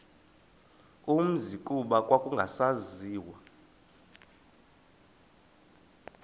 umzi kuba kwakungasaziwa